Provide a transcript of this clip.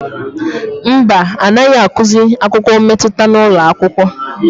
Mba, anaghị akụzi akụkọ mmetụta n'ụlọakwụkwọ.